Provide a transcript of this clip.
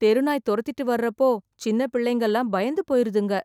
தெருநாய் தொரத்திட்டு வர அப்போ சின்ன பிள்ளைங்கள பயந்து போயிறுதுங்க